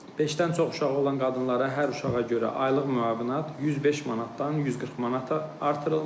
Beşdən çox uşağı olan qadınlara hər uşağa görə aylıq müavinət 105 manatdan 140 manata artırılmış.